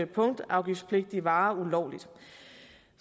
punktafgiftspligtige varer ulovligt